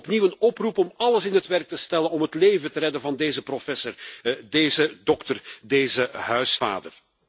Ik doe opnieuw een oproep om alles in het werk te stellen om het leven te redden van deze professor, deze dokter, deze huisvader.